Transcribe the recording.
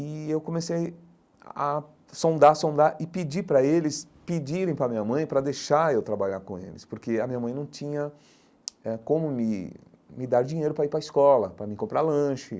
E eu comecei a sondar, sondar e pedir para eles pedirem para minha mãe para deixar eu trabalhar com eles, porque a minha mãe não tinha eh como me me dar dinheiro para ir para a escola, para me comprar lanche.